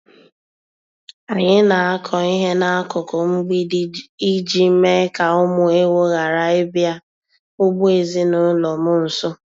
Anyị na-akọ ihe n'akụkụ mgbidi iji mee ka ụmụ ewu ghara ịbịa ugbo ezinụlọ m nso.